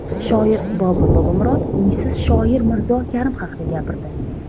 Shoir Bobur Bobomurod uysiz shoir Mirzo Karim haqida gapirdi .